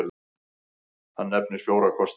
Hann nefnir fjóra kosti.